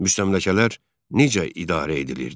Müstəmləkələr necə idarə edilirdi?